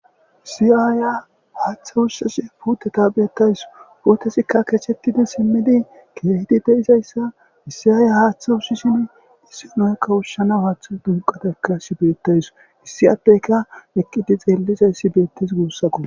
isiyaaya haaththe ussashe puuteta beettays puutesikka kechettidi simmidi keehidi deizayssa issiyaaya haaththe ussishin issinoykka ussana haaththe dunqatekka shi beettays hissi atteyka eqqidi xeellizayssi beettes guussako